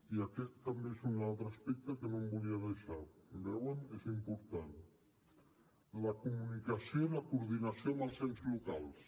i aquest també és un altre aspecte que no em volia deixar ho veuen és important la comunicació i la coordinació amb els ens locals